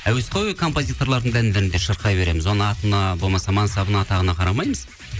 әуесқой композиторлардың да әндерінде де шырқай береміз оның атына болмаса мансабына атағына қарамаймыз